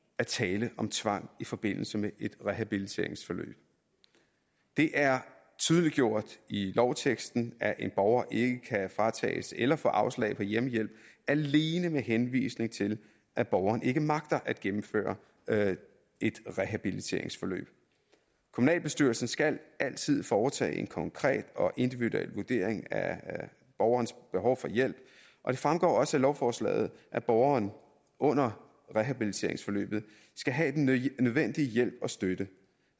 at tale om tvang i forbindelse med et rehabiliteringsforløb det er tydeliggjort i lovteksten at en borger ikke kan fratages eller få afslag på hjemmehjælp alene med henvisning til at borgeren ikke magter at gennemføre et rehabiliteringsforløb kommunalbestyrelsen skal altid foretage en konkret og individuel vurdering af borgerens behov for hjælp og det fremgår også af lovforslaget at borgeren under rehabiliteringsforløbet skal have den nødvendige hjælp og støtte